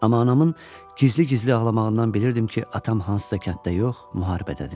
Amma anamın gizli-gizli ağlamağından bilirdim ki, atam hansısa kənddə yox, müharibədədir.